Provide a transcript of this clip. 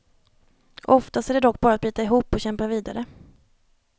Oftast är det dock bara att bita ihop och kämpa vidare.